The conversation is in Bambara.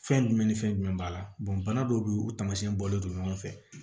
Fɛn jumɛn ni fɛn jumɛn b'a la bana dɔw be yen o taamasiyɛn bɔlen don ɲɔgɔn fɛ